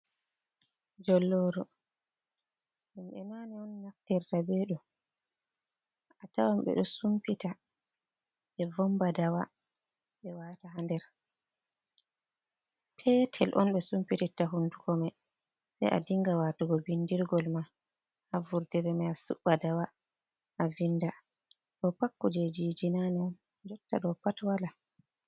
Jolloru, himbe nane on naftirta be ɗo. A tawan ɓe ɗo sumpita be vomba dawa ɓe wata ha nder, petel on ɓe sumpititta hunduko ma sei a dinga watugo bindirgol ma ha vurdiremaa suba dawa a vindaa. Ɗo pakku jejiji nane on jotta ɗo pat wala.